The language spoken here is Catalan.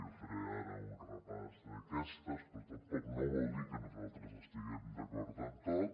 no faré ara un repàs d’aquestes però tampoc no vol dir que nosaltres estiguem d’acord en tot